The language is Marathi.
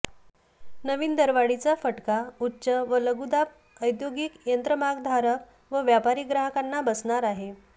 नवीन दरवाढीचा फटका उच्च व लघुदाब औद्योगिक यंत्रमागधारक व व्यापारी ग्राहकांना बसणार आहे